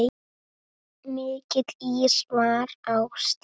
Mikill ís var á stígum.